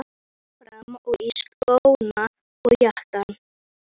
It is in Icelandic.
Ég fór fram og í skóna og jakkann.